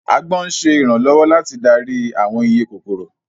Agbọ́n ń ṣe ìrànlọ́wọ́ láti darí àwọn iye kòkòrò